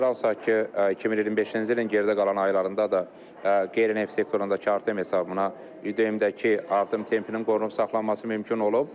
Nəzərə alsaq ki, 2025-ci ilin geridə qalan aylarında da qeyri-neft sektorundakı artım hesabına ÜDM-dəki artım tempinin qorunub saxlanılması mümkün olub.